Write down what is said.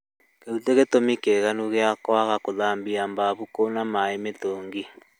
Kĩu ti gĩtũmi kĩiganu gĩa kwaga gũthambia bafu kwĩna maĩ mĩtũngi